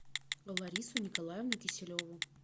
ларису николаевну киселеву